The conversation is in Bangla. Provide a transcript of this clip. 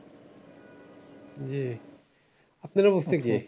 জি আপনার অবস্থা কি?